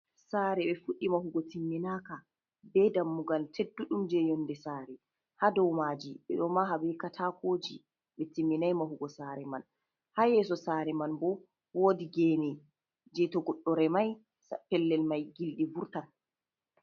Sare ɓe fuɗi mahugo timminaka, be dammugal teddu ɗum je yonde sare, ha dou maji ɓeɗo maha be katakoji ɓe timminai mahugo sare man, ha yeso sare man bo wodi gene je to goɗɗo remai fellel mai gilɗi vurtan.